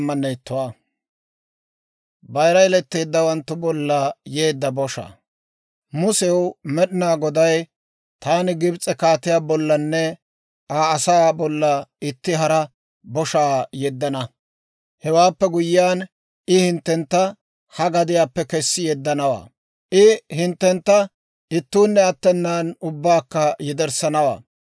Musew Med'inaa Goday, «Taani Gibs'e kaatiyaa bollanne Aa asaa bolla itti hara boshaa yeddana; hewaappe guyyiyaan I hinttentta ha gadiyaappe kessi yeddanawaa; I hinttentta ittuunne attenaan ubbaakka yederssanawaa.